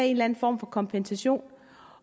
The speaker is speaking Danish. en eller en form for kompensation